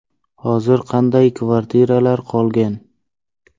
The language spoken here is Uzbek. Hozir qanday kvartiralar qolgan?